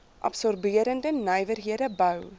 absorberende nywerhede bou